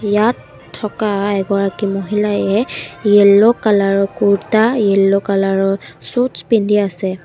ইয়াত থকা এগৰাকী মহিলায়ে য়েল্লো কালাৰ ৰ কুৰ্তা য়েল্লো কালাৰ ৰ চুটচ পিন্ধি আছে।